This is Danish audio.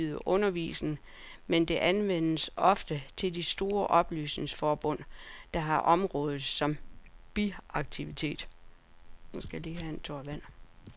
Amterne har ansvaret for at tilbyde undervisning, men det overlades ofte til de store oplysningsforbund, der har området som biaktivitet.